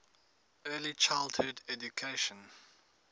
early childhood education